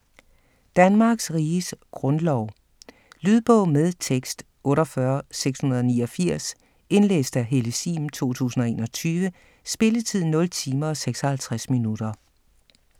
Danmarks Riges Grundlov Lydbog med tekst 48689 Indlæst af Helle Sihm, 2021. Spilletid: 0 timer, 56 minutter.